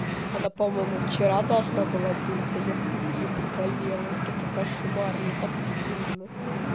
она по моему вчера должна была быть а я сука её проболела это кошмар мне так стыдно